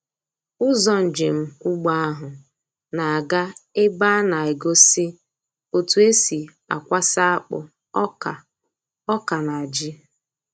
Ụzọ njem ugbo ahụ na-aga ebe a na-egosi otú e si akwasa akpụ, ọka, ọka, na ji.